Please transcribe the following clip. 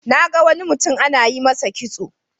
Na ga wani mutum ana yi masa kitso.